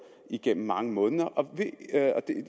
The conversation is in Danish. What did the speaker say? igennem mange måneder